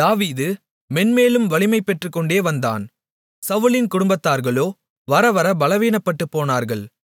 தாவீது மென்மேலும் வலிமை பெற்றுக்கொண்டே வந்தான் சவுலின் குடும்பத்தார்களோ வரவர பலவீனப்பட்டுப்போனார்கள்